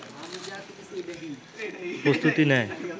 প্রস্তুতি নেয়